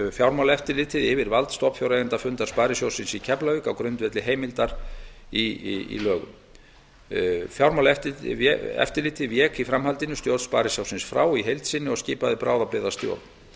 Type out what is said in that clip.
fjármálaeftirlitið vald stofnfjáreigendafundar sparisjóðs keflavíkur á grundvelli heimildar í lögum fjármálaeftirlitið vék í framhaldinu stjórn sparisjóðsins frá í heild sinni og skipaði bráðabirgðastjórn